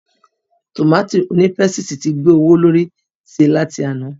Tòmátì onípésìtì ti gbé owó lórí sí láti àná.